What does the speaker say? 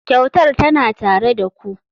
Kyautar tana tare da ku.